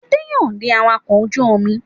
Adé yóò di awakọ̀ ojú-omi.